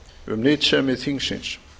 um nytsemi þingsins